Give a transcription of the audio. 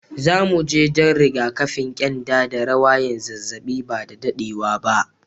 Zu mu je dan rigakafin kyanda da rawayan zazzabi ba da daddewa ba.